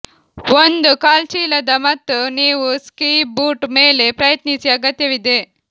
ಒಂದು ಕಾಲ್ಚೀಲದ ಮತ್ತು ನೀವು ಸ್ಕೀ ಬೂಟ್ ಮೇಲೆ ಪ್ರಯತ್ನಿಸಿ ಅಗತ್ಯವಿದೆ